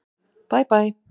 Bæ Bæ.